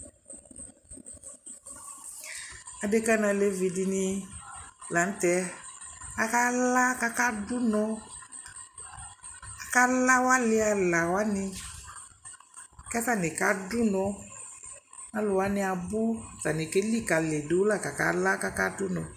Adekǝ nʋ alevi dɩnɩ la nʋ tɛ Akala kʋ akadʋ ʋnɔ Akala awʋ alɩ ala wanɩ kʋ atanɩ kadʋ ʋnɔ Alʋ wanɩ abʋ Atanɩ kelikǝlidu la kala kʋ akadʋ ʋnɔ